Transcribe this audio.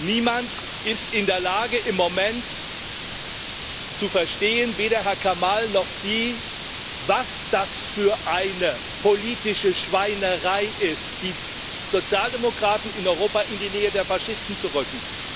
Niemand ist im Moment in der Lage, zu verstehen weder Herr Kamall noch Sie was das für eine politische Schweinerei ist, die Sozialdemokraten in Europa in die Nähe der Faschisten zu rücken.